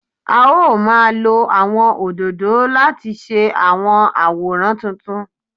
A ó máa lo àwọn òdòdó láti ṣe àwọn àwòrán tuntun